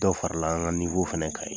Dɔw farala an ka fana kan yen